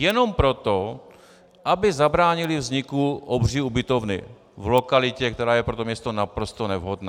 Jenom proto, aby zabránili vzniku obří ubytovny v lokalitě, která je pro to město naprosto nevhodná.